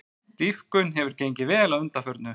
Dýpkun hefur gengið vel að undanförnu